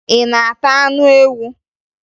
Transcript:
Ị na-ata anụ ewu?